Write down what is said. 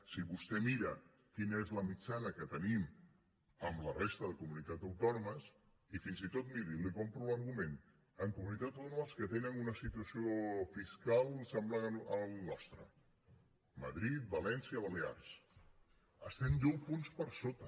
si vostè mira quina és la mitjana que tenim amb la resta de comunitats autònomes i fins i tot miri li compro l’argument amb comunitats autònomes que tenen una situació fiscal semblant a la nostra madrid valència balears estem deu punts per sota